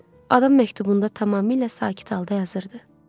Adam məktubunda tamamilə sakit halda yazırdı: